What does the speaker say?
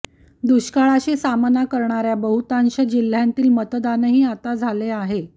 दुष्काळाशी सामना करणाऱ्या बहुतांश जिल्ह्यांतील मतदानही आता झाले आहे